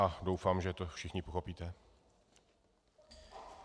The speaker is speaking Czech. A doufám, že to všichni pochopíte.